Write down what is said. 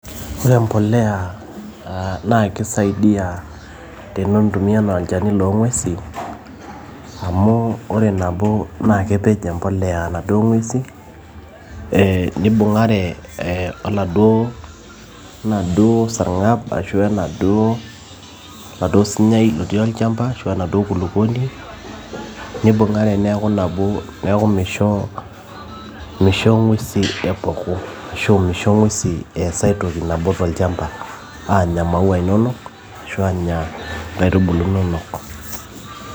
Ore empolea naa kisaidia neintumia anaa olchani loongwesi amu ore nabo na kepej empolea naduo ngwesin eeh nibungare oladuo enaduo sargab arashu enaduo oltaduo sunyai otii olchamba arashu enaduo kulukuoni nibungare neaku nabo neaku misho misho ngwesi arashu misho ngwesi eas ai toki nabo tolchamba aanya maua inonok arashu anya nkaitubulu inonok .